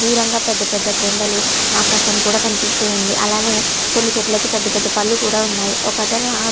దూరంగ పెద్ద పెద్ద కొండలు ఆకాశము కూడా కనిపిస్తుంది అలానే కొన్ని చెట్లకు పెద్ద పెద్ద పండ్లు కూడ ఉన్నాయి ఒక అతను ఆ --